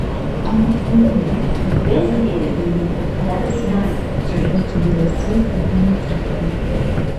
Angot kou no ko kale agoi kotuiyo ak afisaiyek chebo chikilisyet eng emet ab Amerika